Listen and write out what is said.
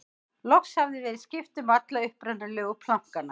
loks hafði verið skipt um alla upprunalegu plankana